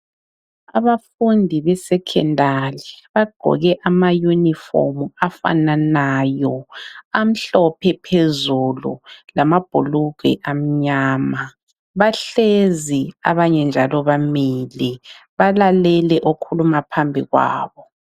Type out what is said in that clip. Abafundi be secondary bagqoke ama uniform afananayo amhlophe phezulu lamabhulugwe amnyama bahlezi abanye njalo bamile balalele okhuluma phambi kwabo.